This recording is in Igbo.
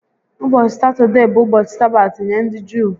Ụbọchị Satọdee bụ ụbọchị Sabaat nye ndị Juu